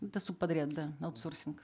это субподряд да аутсорсинг